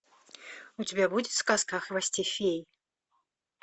у тебя будет сказка о хвосте феи